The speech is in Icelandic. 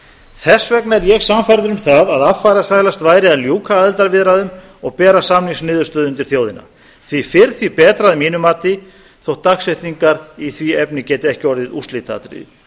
þess vegna er ég sannfærður um það að affarasælast væri að ljúka aðildarviðræðum og bera samningsniðurstöðu undir þjóðina því fyrr því betra að mínu mati þótt dagsetningar í því efni geti ekki orðið úrslitaatriði